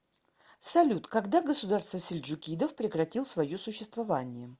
салют когда государство сельджукидов прекратил свое существование